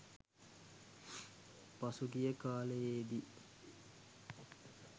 පසුගිය කාලයේදී